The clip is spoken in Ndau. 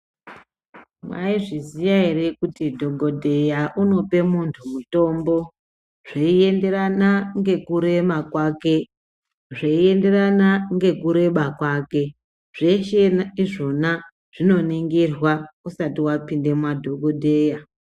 Mwaizviziya ere kuti dhogodheya unope muntu mutombo zveienderana nekurema kwake, zveienderana nekureba kwake. Zveshe izvona zvinoningirwa usati vapinda madhogodheya.